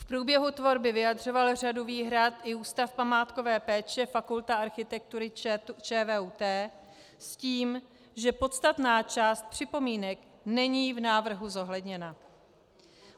V průběhu tvorby vyjadřoval řadu výhrad i Ústav památkové péče, Fakulta architektury ČVUT, s tím, že podstatná část připomínek není v návrhu zohledněna.